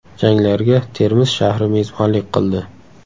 Janglarga Termiz shahri mezbonlik qildi.